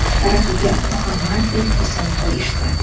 sharafiga Muhammad deb ism qo‘yishdi.